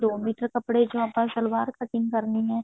ਦੋ ਮੀਟਰ ਕੱਪੜੇ ਚੋਂ ਆਪਾਂ ਸਲਵਾਰ cutting ਕਰਨੀ ਹੈ